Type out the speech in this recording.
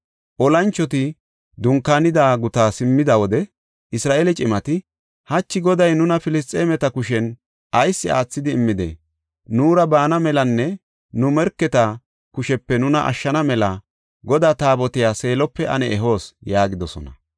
Olanchoti dunkaanida gutaa simmida wode Isra7eele cimati, “Hachi Goday nuna Filisxeemeta kushen ayis aathidi immidee? Nuura baana melanne nu morketa kushepe nuna ashshana mela Godaa Taabotiya Seelope ane ehoos” yaagidosona.